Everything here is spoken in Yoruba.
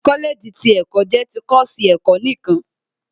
Kọ́lẹ̀ẹ̀jì ti ẹ̀kọ́ jẹ́ ti kọ́ọ̀sì ẹ̀kọ́ nìkan